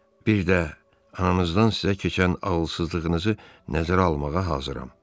bir də ananızdan sizə keçən ağılsızlığınızı nəzərə almağa hazıram.